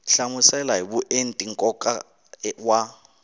hlamusela hi vuenti nkoka wa